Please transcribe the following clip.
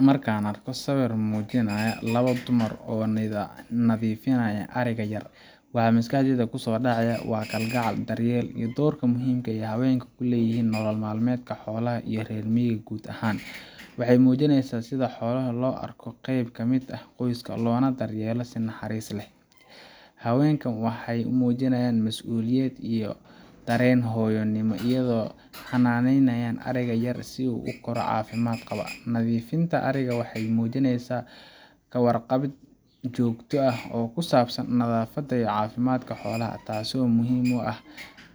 Marka aan arko sawirkan oo muujinaya labo dumar ah oo nadiifinaya ariga yar, waxa maskaxdayda ku soo dhacaya kalgacal, daryeel iyo doorka muhiimka ah ee haweenku ku leeyihiin nolol maalmeedka xoolaha iyo reer miyiga guud ahaan. Waxay muujinaysaa sida xoolaha loogu arko qayb ka mid ah qoyska, loona daryeelo si naxariis leh. Haweenkan waxay muujiyeen mas’uuliyad iyo dareen hooyonimo, iyadoo ay xanaaneynayaan ariga yar si uu u koro caafimaad qaba. Nadiifinta ariga waxay muujinaysaa ka warqabid joogto ah oo ku saabsan nadaafadda iyo caafimaadka xoolaha, taasoo muhiim u ah